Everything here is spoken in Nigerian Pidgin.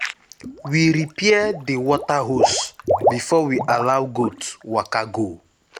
we repair the water hose before we allow goats waka go.